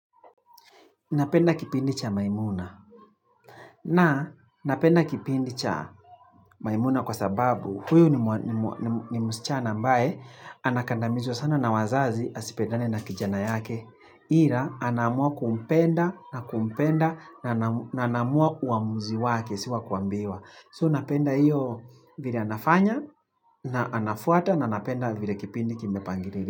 Napenda kipindi cha maimuna na napenda kipindi cha maimuna kwa sababu huyu ni ni msichana ambaye anakandamizwa sana na wazazi asipendane na kijana yake ila anaamua kumpenda na kumpenda na anaamua uamuzi wake si wa kuambiwa. So napenda hiyo vile anafanya na anafuata na napenda vile kipindi kimepangililiwa.